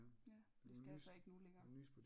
Ja det skal jeg så ikke nu længere